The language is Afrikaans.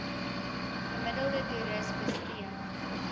gemiddelde toeris bestee